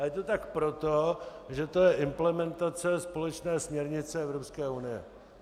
A je to tak proto, že to je implementace společné směrnice Evropské unie.